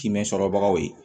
Timinan sɔrɔ bagaw ye